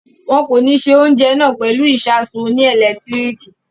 Won ko ní ṣe oúnjẹ náà pẹ̀lú ìsasùn oní ẹ̀lẹ́tíríkì